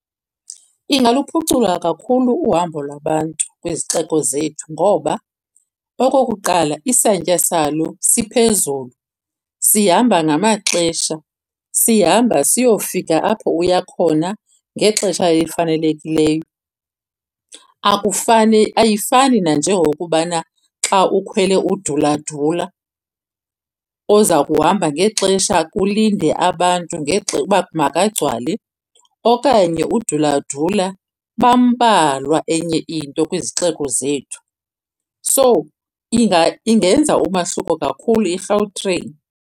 Ingaluphucula kakhulu uhambo lwabantu kwizixeko zethu. Ngoba okokuqala isantya salo siphezulu, sihamba ngamaxesha, sihamba siyofika apho uya khona ngexesha elifanelekileyo. Akufani, ayifani nanjengokubana xa ukhwele uduladula oza kuhamba ngexesha kulinde abantu uba makagcwale, okanye uduladula bambalwa enye into kwizixeko zethu. So ingenza umahluko kakhulu iGautrain.